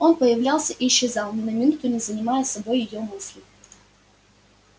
он появлялся и исчезал ни на минуту не занимая собой её мысли